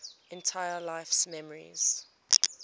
entire life's memories